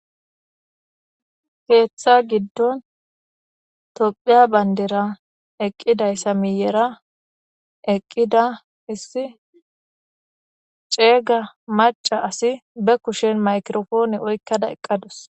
Keeththa giddon toophiya bandira eqqida issa miyira, eqqida isse ceega maccase qassi ba kushen maykiro-poone oyqqda dazu.